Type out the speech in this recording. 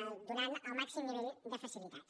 i donem el màxim nivell de facilitats